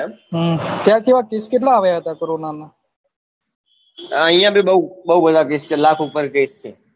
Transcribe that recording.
હમ ત્યાં તો case કેટલા આવ્યા હતા કોરોના ના ઐયા ભી બવ બધા case છે લાખ ઉપર છે